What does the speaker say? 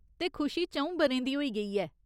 ते खुशी च'ऊं ब'रें दी होई गेई ऐ।